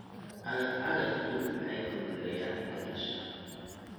Cagaf-cagaftu waxay fududeeyaan beerashada.